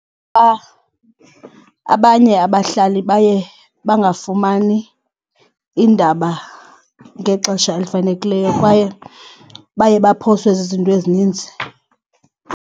Abanye abahlali baye bangafumani iindaba ngexesha elifanelekileyo kwaye baye baphoswe zizinto ezininzi.